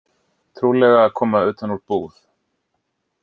Trúlega að koma utan úr búð.